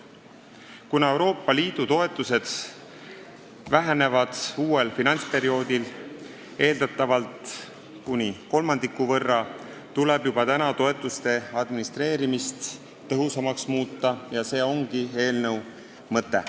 Kuna Euroopa Liidu toetused vähenevad uuel finantsperioodil eeldatavalt kuni kolmandiku võrra, tuleb juba praegu toetuste administreerimist tõhusamaks muuta – see ongi eelnõu mõte.